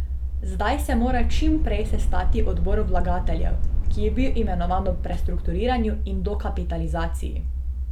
Zdaj se mora čim prej sestati odbor vlagateljev, ki je bil imenovan ob prestrukturiranju in dokapitalizaciji.